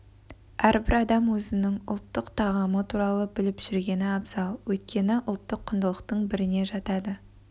әрбір адам өзінің ұлттық тағамы туралы біліп жүргені абзал өйткені ұлттық құндылықтың біріне жатады